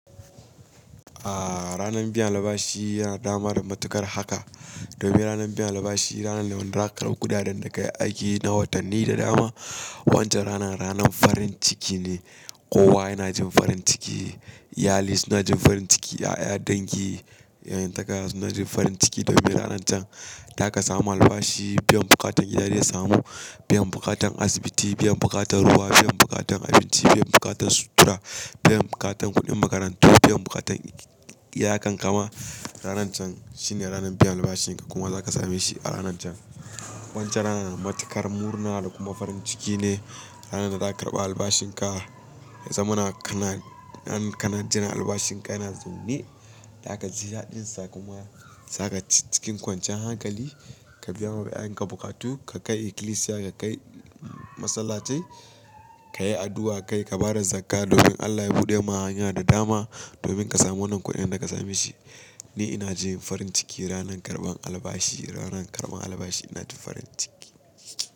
Ahhh, ranan biyan albashi yana dama da matuƙar haka. Domin ranar biyan albashi ranar da muna karɓa kudaden da kayi aiki na watanni da dama. Wancan ranan ranan farin ciki ne, kowa yana jin farin ciki, iyali suna jin farin ciki, ya'ya dangi, 'yan takara suna jin farin ciki domin ranan can zaka samu albashi. Biyan bukatan iyali ya samu, biyan bukatan asibiti, biyan bukatan ruwa, biyan bukatan abinci, biyan bukatan sutura, biyan bukatan kuɗin makarantu, biyan bukatan iyakan ka ma. Ranan can shine ranan biyan albashin ka kuma zaka same shi a ranan can. Wancan ranan matuƙar murna da kuma farin ciki ne, ranan da zaka karɓa albashin ka. Zuwa muna kana, in kana jıran albashin ka kana zowne, za kaji daɗinsa kuma za ka ci cikin kwancan hankali. Ka biya ma iyayen ka bukatu, ka kai ikilisiya, ka kai masallatai, ka yi addu'a kai, ka bada zakka domin Allah ya buɗe ma hanya da dama, domin ka samu wannan kuɗin da za ka same shi. Ni ina jin farin ciki ranan karɓan albashi, ranan karɓan albashi ina jin farin ciki.